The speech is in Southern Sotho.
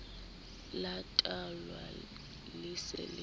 la botahwa le se le